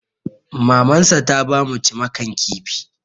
Mamansa ta ba mu cimakan kifi.